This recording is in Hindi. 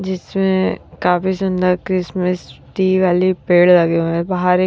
जिसमें काफी सुंदर क्रिसमस ट्री वाले पेड़ लगे हुए हैं बाहर एक--